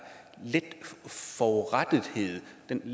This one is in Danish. forurettethed den